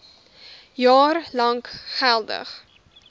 jaar lank geldig